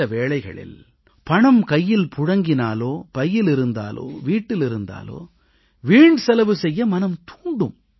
சில வேளைகளில் பணம் கையில் புழங்கினாலோ பையில் இருந்தாலோ வீட்டில் இருந்தாலோ வீண் செலவு செய்ய மனம் தூண்டும்